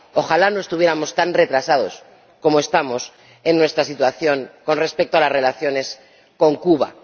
Ojalá no estuviéramos tan retrasados como estamos en nuestra situación con respecto a las relaciones con Cuba.